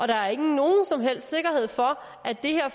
der er ikke nogen som helst sikkerhed for at det her